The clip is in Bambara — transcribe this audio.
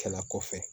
Kɛla kɔfɛ